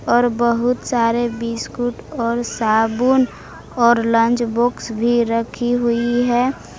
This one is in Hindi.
और बहुत सारे बिस्कुट और साबुन और लंच बॉक्स भी रखी हुई है।